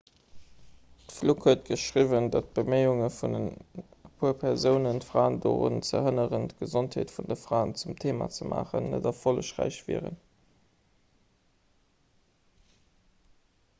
d'fluke huet geschriwwen datt d'beméiunge vun e puer persounen d'fraen dorun ze hënneren d'gesondheet vun de fraen zum theema ze maachen net erfollegräich waren